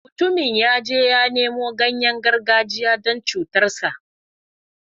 Mutumin ya je ya nemo ganyayen gargajiya don cutarsa.